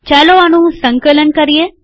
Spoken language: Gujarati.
ચાલો આનું સંકલન કરીએ